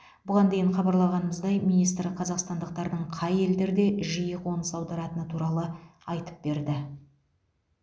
бұған дейін хабарлағанымыздай министр қазақстандықтардың қай елдерге жиі қоныс аударатыны туралы айтып берді